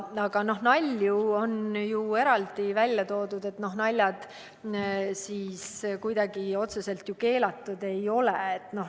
Aga nalju on ju eraldi välja toodud, naljad kuidagi otseselt keelatud ei ole.